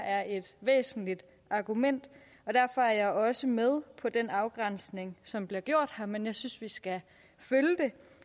er et væsentligt argument og derfor er jeg også med på den afgrænsning som bliver gjort her men jeg synes vi skal følge det